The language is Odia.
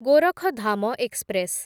ଗୋରଖଧାମ ଏକ୍ସପ୍ରେସ୍